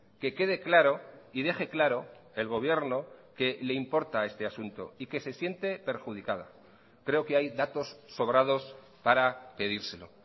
que quede claro y deje claro el gobierno que le importa este asunto y que se siente perjudicada creo que hay datos sobrados para pedírselo